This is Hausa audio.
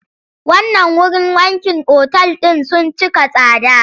Wannan wurin wankin otal ɗin sun cika tsada.